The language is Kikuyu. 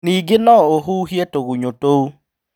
Ningĩ no ũhuhie tũgunyũ tũu.